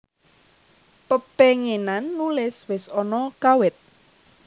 Pepenginan nulis wis ana kawit